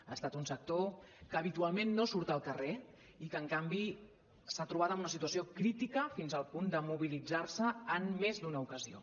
ha estat un sector que habitualment no surt al carrer i que en canvi s’ha trobat amb una situació crítica fins al punt de mobilitzar se en més d’una ocasió